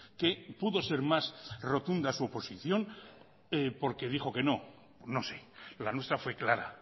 que pudo ser más rotunda su oposición porque dijo que no no sé la nuestra fue clara